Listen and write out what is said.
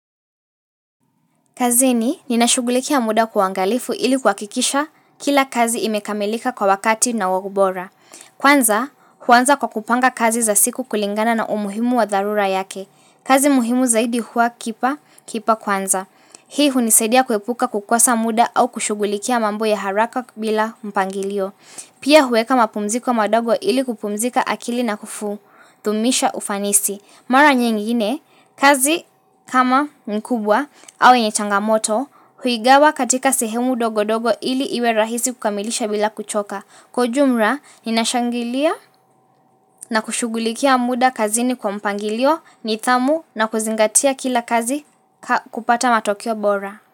Kazini, ninashughulikia muda kwa uangalifu ili kuhakikisha kila kazi imekamilika kwa wakati na ubora. Kwanza, huanza kwa kupanga kazi za siku kulingana na umuhimu wa dharura yake. Kazi muhimu zaidi huwa kipa kipa kwanza. Hii hunisadia kuepuka kukosa muda au kushughulikia mambo ya haraka bila mpangilio. Pia huweka mapumziko madogo ili kupumzika akili na kudumisha ufanisi. Mara nyingine, kazi kama ni kubwa au yenye changamoto huigawa katika sehemu ndogo ndogo ili iwe rahizi kukamilisha bila kuchoka. Kwa ujumla, ninashangilia na kushughulikia muda kazini kwa mpangilio, nidhamu na kuzingatia kila kazi kupata matokeo bora.